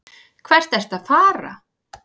Hvert ertu að fara?